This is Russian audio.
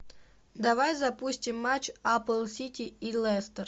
давай запустим матч апл сити и лестер